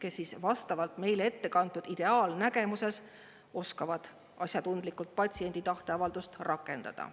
kes vastavalt meile ettekantud ideaalnägemuses oskavad asjatundlikult patsiendi tahteavaldust rakendada.